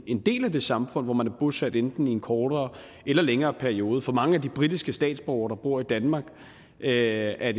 en del af det samfund hvor man er bosat enten i en kortere eller længere periode for mange af de britiske statsborgere der bor i danmark er